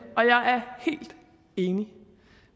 og jeg er helt enig